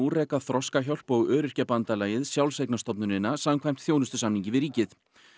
reka Þroskahjálp og Öryrkjabandalagið sjálfseignarstofnunina samkvæmt þjónustusamningi við ríkið